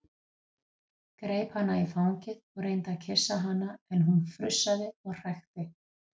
Greip hana í fangið og reyndi að kyssa hana en hún frussaði og hrækti.